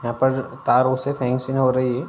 यहां पर तार ओर से फेंसिंग हो रही है।